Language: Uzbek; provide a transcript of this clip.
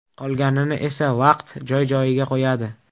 Qolganini esa vaqt joy-joyiga qo‘yadi.